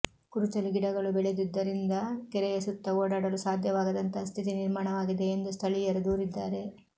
ಕುರುಚಲು ಗಿಡಗಳು ಬೆಳೆದಿದ್ದರಿಂದ ಕೆರೆಯ ಸುತ್ತ ಓಡಾಡಲು ಸಾಧ್ಯವಾಗದಂತಹ ಸ್ಥಿತಿ ನಿರ್ಮಾಣವಾಗಿದೆ ಎಂದು ಸ್ಥಳೀಯರು ದೂರಿದ್ದಾರೆ